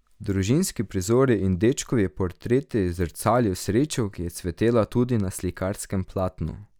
Družinski prizori in dečkovi portreti zrcalijo srečo, ki je cvetela tudi na slikarskem platnu.